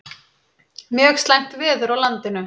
Mjög slæmt veður á landinu